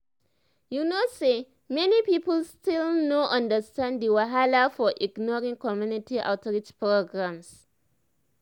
you know say many people still no understand the wahala of ignoring community outreach programs.